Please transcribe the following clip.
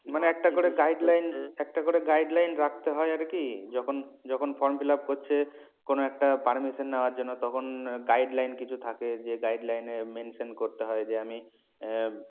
মানে একটা করে guideline একটা করে guideline রাখতে হয় আর কি যখন যখন form fill up করছে কোন একটা permission নেওয়ার জন্য তখন guideline কিছু থাকে যে guideline এ mention করতে হয় যে আমি আহ